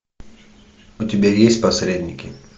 у тебя есть посредники